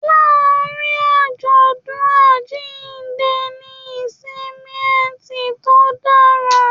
Láàrin ajọdun àjínde ní ìsinmi ẹtì to dára.